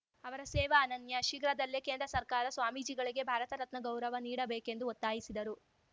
ಅವರ ಸೇವ ಅನನ್ಯ ಶೀಘ್ರದಲ್ಲೇ ಕೇಂದ್ರ ಸರ್ಕಾರ ಸ್ವಾಮೀಜಿಗಳಿಗೆ ಭಾರತ ರತ್ನ ಗೌರವ ನೀಡಬೇಕೆಂದು ಒತ್ತಾಯಿಸಿದರು